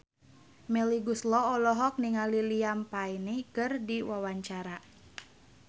Melly Goeslaw olohok ningali Liam Payne keur diwawancara